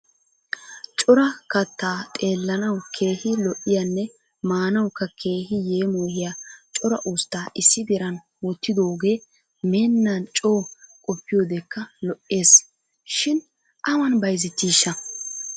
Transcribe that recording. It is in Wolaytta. Cora kattaa xeellanawu keehi lo'iyaanne maanawukka keehi yeemoyiya cora ustta issi diran wottidooge meennan coo qoppiyodekka lo'es shin awan bayizettishsha?